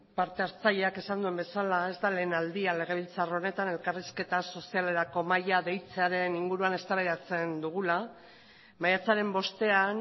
partehartzaileak esan duen bezala ez da lehen aldia legebiltzar honetan elkarrizketa sozialerako mahaia deitzearen inguruan eztabaidatzen dugula maiatzaren bostean